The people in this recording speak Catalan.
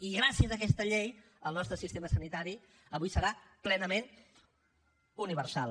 i gràcies a aquesta llei el nostre sistema sanitari avui serà plenament universal